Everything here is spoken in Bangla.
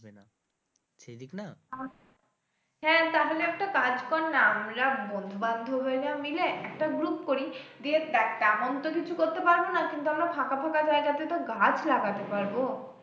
হ্যাঁ তাহলে একটা কাজ কর না আমরা বন্ধু-বান্ধবীরা মিলে একটা group করি দিয়ে দেখ তেমন তো কিছু করতে পারবো না কিন্তু আমরা ফাঁকা ফাঁকা জায়গাতে তো গাছ লাগাতে পারবো।